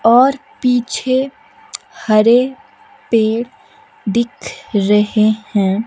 और पीछे हरे पेड़ दिख रहे हैं।